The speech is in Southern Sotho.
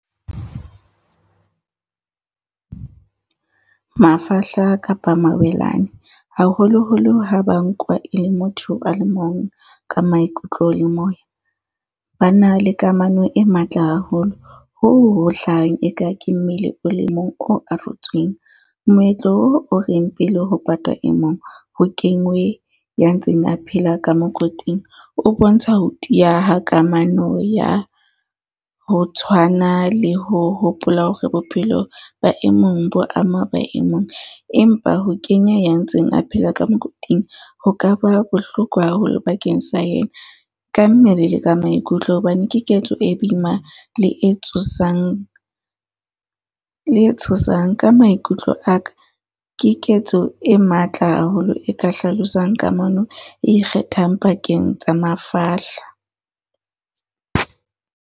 Mafahla kapa mawelane, haholoholo ha ba nkwa e le motho a le mong ka maikutlo le moya. Ba na le kamano e matla haholo hoo ho hlahang e ka ke mmele o le mong o arotsweng. Moetlo oo o e le ho patwa e mong, ho kengwe ya ntseng a phela ka mokoting o bontsha ho tiya ha kamano ya ho tshwana le ho hopola hore bophelo ba emong bo ama ba emong. Empa ho kenya ya ntseng a phela ka mokoting, ho ka ba bohloko haholo bakeng sa yena ka mmele le ka maikutlo, hobane ke ketso e boima le e tsosang, le e tshosang. Ka maikutlo aka, ke ketso e matla haholo e ka hlalosang kamano e ikgethang pakeng tsa mafahla.